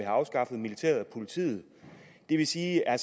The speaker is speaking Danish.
afskaffet militæret og politiet det vil sige at